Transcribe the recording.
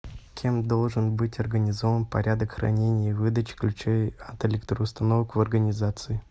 кем должен быть организован порядок хранения и выдачи ключей от электроустановок в организации